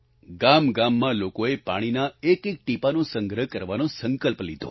ગામગામમાં લોકોએ પાણીના એકએક ટીપાંનો સંગ્રહ કરવાનો સંકલ્પ લીધો